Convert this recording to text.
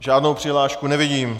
Žádnou přihlášku nevidím.